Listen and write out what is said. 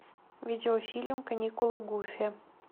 видеофильм каникулы гуфи